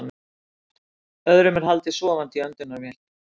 Öðrum er haldið sofandi í öndunarvél